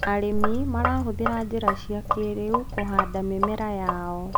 arĩmi marahuthira njira cia kĩiriu kuhanda mĩmera yao